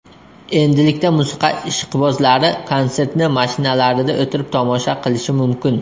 Endilikda musiqa ishqibozlari konsertni mashinalarida o‘tirib tomosha qilishi mumkin.